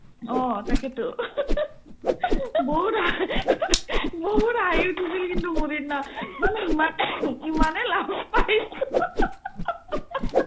অ, তাকেতো বহুত হা বহুত হাঁহি উঠিছিল কিন্তু মোৰ সিদিনা মানে ইম্মানে ইম্মানে লাজ পাইছিলো